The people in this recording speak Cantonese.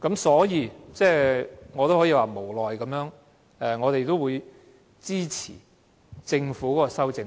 所以，我們會無奈地先支持政府的修正案。